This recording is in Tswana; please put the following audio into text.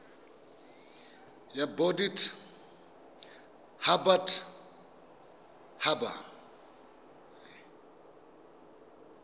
ya bodit habat haba e